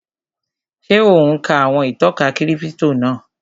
Ṣé ò ún ka àwọn ìtọ́ka kírípítò náà?